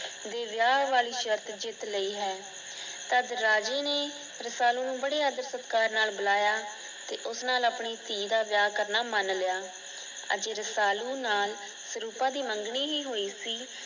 ਦੇ ਵਿਆਹ ਵਾਲੀਂ ਸ਼ਰਤ ਜਿੱਤ ਲਈ ਹੈ। ਅੱਜ ਰਾਜੇ ਨੇ ਰਸਾਲੂ ਨੂੰ ਬੜੇ ਆਦਰ ਸਤਿਕਾਰ ਨਾਲ ਬੁਲਾਇਆ ਤੇ ਉਸ ਨਾਲ ਆਪਣੀ ਧੀ ਦਾ ਵਿਆਹ ਕਰਨਾ ਮਨ ਲਿਆ। ਅਜੇ ਰਸਾਲੂ ਨਾਲ ਸਰੂਪਾ ਦੀ ਮੰਗਣੀ ਹੀ ਹੋਇ ਸੀ।